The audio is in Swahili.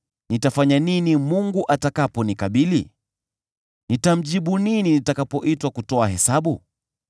nitafanya nini Mungu atakaponikabili? Nitamjibu nini nitakapoitwa kutoa hesabu?